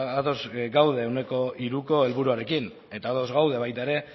ados gaude ehuneko hiruko helburuarekin eta ados gaude baita ere